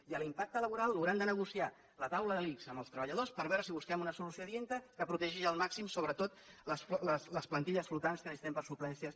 i l’impacte laboral l’haurà de negociar la taula de l’ics amb els treballadors per veure si busquem una solució adient que protegeixi al màxim sobretot les plantilles flotants que necessitem per a suplències